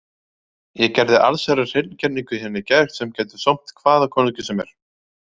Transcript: Ég gerði allsherjar hreingerningu hérna í gær sem gæti sómt hvaða konungi sem er.